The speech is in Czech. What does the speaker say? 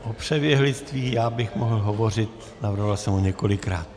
O přeběhlictví já bych mohl hovořit, navrhoval jsem ho několikrát.